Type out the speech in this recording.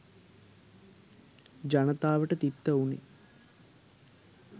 ජනතාවට තිත්ත වුනේ.